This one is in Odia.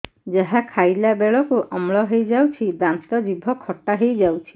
ଯାହା ଖାଇଲା ବେଳକୁ ଅମ୍ଳ ହେଇଯାଉଛି ଦାନ୍ତ ଜିଭ ଖଟା ହେଇଯାଉଛି